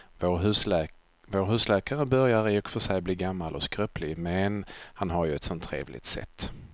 Vår husläkare börjar i och för sig bli gammal och skröplig, men han har ju ett sådant trevligt sätt!